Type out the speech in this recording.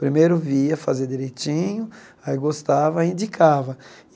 Primeiro via, fazia direitinho, aí gostava, e indicava.